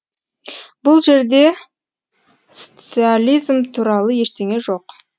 бұл жерде стциализм туралы ештеңе жоқ